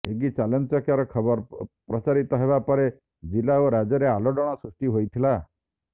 ଏଗି ଚାଞ୍ଚଲ୍ୟକର ଖବର ପ୍ରଚାରିତ ହେବା ପରେ ଜିଲ୍ଲା ଓ ରାଜ୍ୟରେ ଆଲୋଡନ ସୃଷ୍ଟି ହୋଇଥିଲା